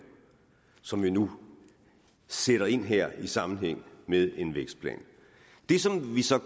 som vi nu sætter ind her i sammenhæng med en vækstplan det som